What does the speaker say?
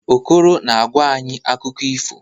Okoro na-agwa anyị akụkọ ifo.